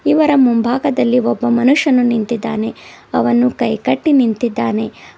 ಇವರ ಮುಂಭಾಗದಲ್ಲಿ ಒಬ್ಬ ಮನುಷ್ಯನು ನಿಂತಿದ್ದಾನೆ ಅವನು ಕೈಕಟ್ಟಿ ನಿಂತಿದ್ದಾನೆ.